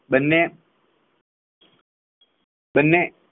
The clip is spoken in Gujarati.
બંને બંને